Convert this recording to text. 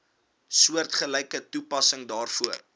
soortgelyke toepassing daarvoor